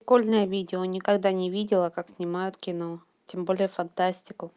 прикольное видео никогда не видела как снимают кино тем более фантастику